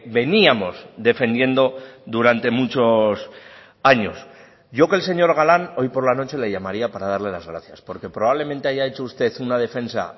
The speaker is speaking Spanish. veníamos defendiendo durante muchos años yo que el señor galán hoy por la noche le llamaría para darle las gracias porque probablemente haya hecho usted una defensa